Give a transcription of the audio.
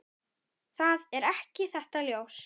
Það er ekki þetta ljós.